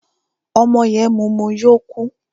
Ọmọ yẹn mumu yó kú.